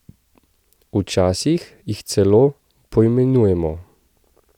Včasih jih celo poimenujemo.